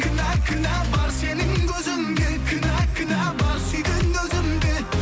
кінә кінә бар сенің көзіңде кінә кінә бар сүйген өзімде